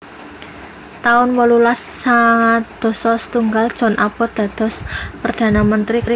taun wolulas sangang dasa setunggal John Abbott dados perdana menteri Kanada